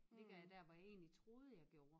Ligger jeg der hvor jeg egentlig troede jeg gjorde?